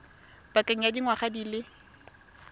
pakeng ya dingwaga di le